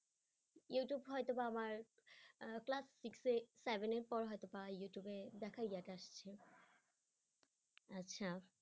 ইউটিউবে হয়তো বা আমার আহ class six seven এর পর হয়তো বা ইউটিউবে দেখাই ইয়ে টা আচ্ছা